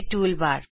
toolbar